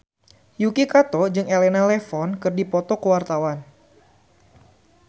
Yuki Kato jeung Elena Levon keur dipoto ku wartawan